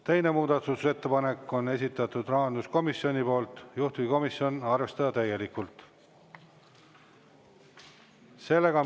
Teine muudatusettepanek on esitatud rahanduskomisjoni poolt ja juhtivkomisjon arvestada täielikult.